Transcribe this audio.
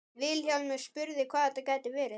Vilhjálmur spurði hvað þetta gæti verið.